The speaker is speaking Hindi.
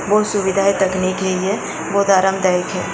वो सुविधाएं तकनी के लिए बहुत आरामदायक है।